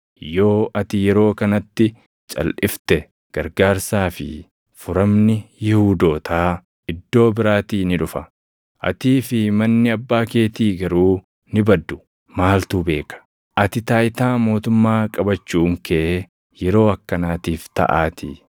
Yoo ati yeroo kanatti calʼifte gargaarsaa fi furamni Yihuudootaa iddoo biraatii ni dhufa; atii fi manni abbaa keetii garuu ni baddu. Maaltu beeka? Ati taayitaa mootummaa qabachuun kee yeroo akkanaatiif taʼaatii.”